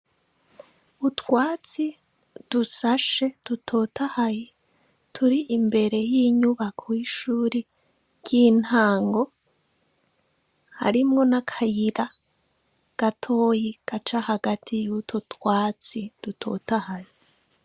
Utwatsi dusashe dutotahaye turi imbere y'inyubako 'ishuri ry'intango harimwo n'akayira gatoyi gaca hagati yutwo twatsi dutotahaye.